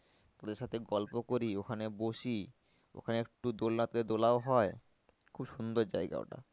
ওদের সাথে গল্প করি ওখানে বসি ওখানে একটু দোলনাতে দোলাও হয়। খুব সুন্দর জায়গা ওটা